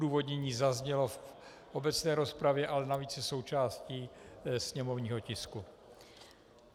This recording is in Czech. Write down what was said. Odůvodnění zaznělo v obecné rozpravě, ale navíc je součástí sněmovního tisku.